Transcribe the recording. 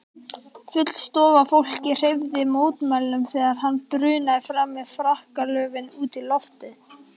Full stofa af fólki hreyfði mótmælum þegar hann brunaði fram með frakkalöfin út í loftið.